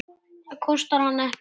Það kostar hann ekkert.